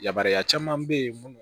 Yamaruya caman be yen munnu